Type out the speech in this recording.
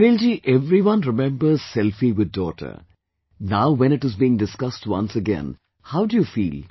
Sunil ji everyone remembers 'Selfie with daughter'... Now when it is being discussed once again, how do you feel